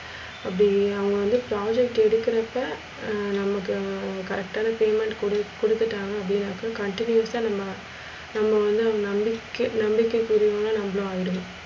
அப்டி அவுங்க வந்து project எடுக்குறப்ப ஹம் நமக்கு correct னா payment குடு கொடுத்துட்டாங்க அப்டினாக்க, continious நம்ம நம்ம வந்து அவுங்க நம்பிக்கை நம்பிக்கை குரியவுங்க நம்பளும் ஆய்டுவோ